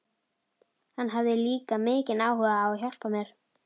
Hann hafði líka mikinn áhuga á að hjálpa mér.